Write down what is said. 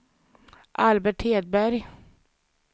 Albert Hedberg